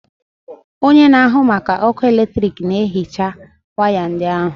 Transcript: Onye na-ahụ maka ọkụ eletrik na-ehicha waya ndị ahụ.